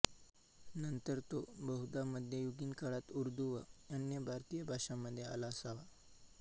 नंतर तो बहुधा मध्ययुगीन काळात उर्दू व अन्य भारतीय भाषांमध्ये आला असावा